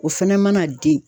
O fɛnɛ mana den.